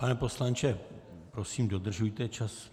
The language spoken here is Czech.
Pane poslanče, prosím dodržujte čas.